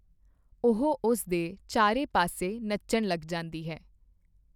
ਉਹ ਉਸ ਦੇ ਚਾਰੇ ਪਾਸੇ ਨੱਚਣ ਲੱਗ ਜਾਂਦੀ ਹੈ।